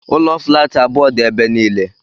Ụlọ flaatị abụọ dị ebe niile.